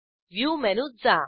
view मेनूत जा